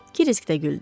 Kris də güldü.